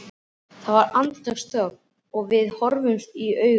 Það varð andartaks þögn og við horfðumst í augu.